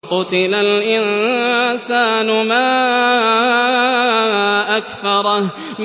قُتِلَ الْإِنسَانُ مَا أَكْفَرَهُ